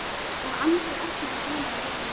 og Andri opnaði ginið á Jórunni.